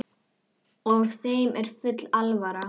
Og þeim er full alvara.